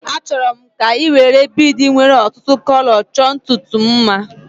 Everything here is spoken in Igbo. Achọrọ m ka ị were biidi nwéré ọtụtụ kọlọ chọọ ntutu m mma